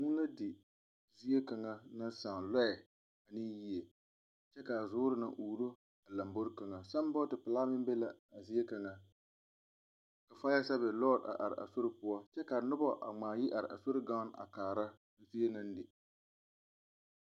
Vũũ la di ziekaŋa naŋ sãã lͻԑ ane yie, kyԑ kaa zuuri naŋ uuro lambori kaŋa. Sambͻͻte pelaa meŋ be la a zie kaŋa. Faya sԑԑvis lͻͻre a are a sori poͻ kyԑ kaa noba a ŋmaa yi are a sori gaŋene a kaara zie naŋ le.